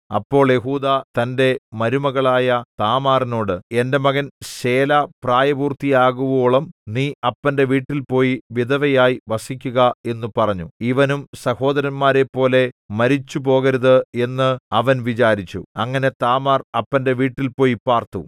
അപ്പോൾ യെഹൂദാ തന്റെ മരുമകളായ താമാറിനോട് എന്റെ മകൻ ശേലാ പ്രായപൂർത്തിയാകുവോളം നീ അപ്പന്റെ വീട്ടിൽപോയി വിധവയായി വസിക്കുക എന്നു പറഞ്ഞു ഇവനും സഹോദരന്മാരെപ്പോലെ മരിച്ചുപോകരുത് എന്ന് അവൻ വിചാരിച്ചു അങ്ങനെ താമാർ അപ്പന്റെ വീട്ടിൽപോയി പാർത്തു